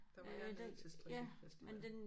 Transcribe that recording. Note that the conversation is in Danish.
Der var jeg nede til strikkefestival